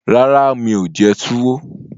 Rárá, mi ò jẹ túwó